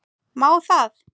Má það?